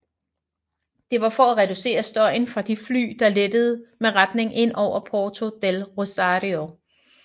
Det var for at reducere støjen fra de fly der letter med retning ind over Puerto del Rosario